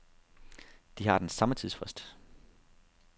De har den samme tidsfrist.